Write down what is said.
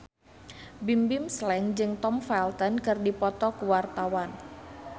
Bimbim Slank jeung Tom Felton keur dipoto ku wartawan